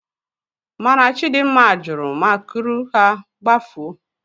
Mana Chidimma jụrụ ma kuru ha gbafuo.